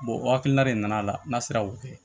o hakilina de nana n'a sera k'o kɛ